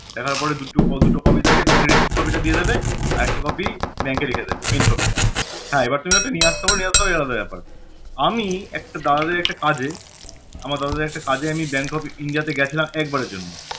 দেখার পরে দুটো ক~ দুটো copy থাকে তোমাকে receipt copy টা দিয়ে দিবে আরেকটা copy bank এ রেখে দিবে main copy টা হ্যাঁ এখন তুমি ওটা নিয়ে আসতে পার আসতে পার এটা তোমার ব্যাপার আমি একটা দাদাদের একটা কাজে আমার দাদাদের একটা কাজে bank of India তে গেছিলাম একবারের জন্য